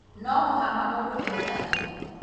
no mũhaka mũndũ erũtanĩrie